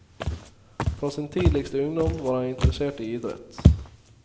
Fra sin tidligste ungdom var han interessert i idrett.